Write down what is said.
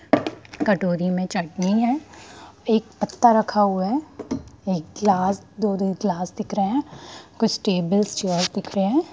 कटोरी में चटनी है एक पत्ता रखा हुआ है एक ग्लास दो-दो ग्लासें दिख रहें हैं कुछ टेबल चेयर दिख रहें हैं।